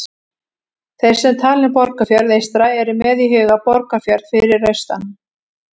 Þeir sem tala um Borgarfjörð eystra eru með í huga Borgarfjörð fyrir austan.